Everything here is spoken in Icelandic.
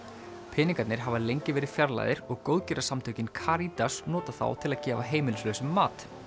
peningarnir hafa lengi verið fjarlægðir og góðgerðarsamtökin Caritas notað þá til að gefa heimilislausum mat